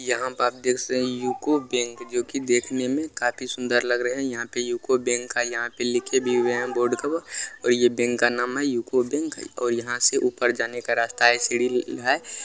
यहाँ पर आप देख सके यूको बैंक जो की देखने में काफी सुंदर लग रहे हैं यहाँ पर यूको बैंक है यहाँ पर लिखे भी हुए हैं बोर्ड के वो और ये बैंक का नाम है यूको बैंक और यहाँ से ऊपर जाने का रास्ता है सीढ़ी है।